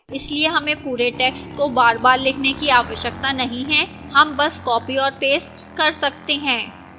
इसलिए हमें पूरे text को बारबार लिखने की आवश्यकता नहीं है हम बस copy और paste कर सकते हैं